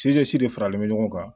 de faralen bɛ ɲɔgɔn kan